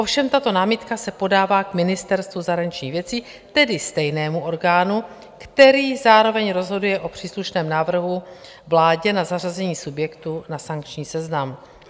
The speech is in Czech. Ovšem tato námitka se podává k Ministerstvu zahraničních věcí, tedy stejnému orgánu, který zároveň rozhoduje o příslušném návrhu vládě na zařazení subjektu na sankční seznam.